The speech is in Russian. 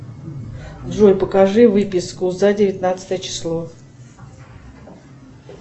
джой покажи выписку за девятнадцатое число